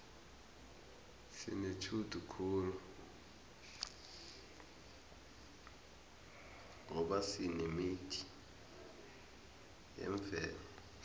sinetjhudu khulu ngoba sinemithi yemvelo